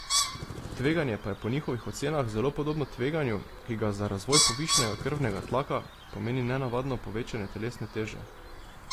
Tveganje pa je po njihovih ocenah zelo podobno tveganju, ki ga za razvoj povišanega krvnega tlaka pomeni nenadno povečanje telesne teže.